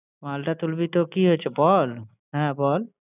মালটা তুলবি তো কি হয়েছে বল? হ্যাঁ বল!